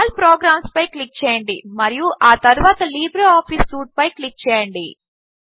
all programs పై click చేయండి మరియు ఆ తరువాత లిబ్రేఆఫీస్ సూట్పై క్లిక్ చేయండి